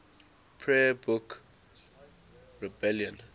prayer book rebellion